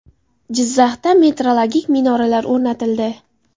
Jizzaxda metrologik minoralar o‘rnatildi .